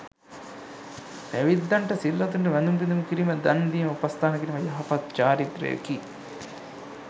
පැවිද්දන්ට, සිල්වතුන්ට, වැඳුම් පිදුම් කිරීම, දන් දීම, උපස්ථාන කිරීම යහපත් චාරිත්‍රයකි.